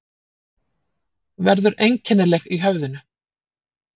Verður einkennileg í höfðinu.